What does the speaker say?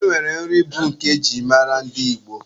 E nwere nri bụ nke e ji mara ndị Igbo.